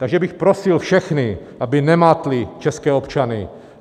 Takže bych prosil všechny, aby nemátli české občany.